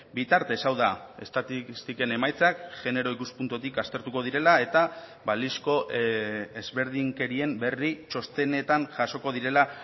bitartez hau da estatistiken emaitzak genero ikuspuntutik aztertuko direla eta balizko ezberdinkerien berri txostenetan jasoko direla